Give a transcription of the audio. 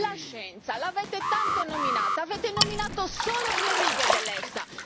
La scienza, l'avete tanto nominata, avete nominato solo due righe dell'EFSA.